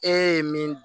E ye min dun